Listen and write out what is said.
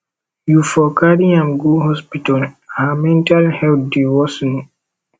you for carry am go hospital her mental health dey worsen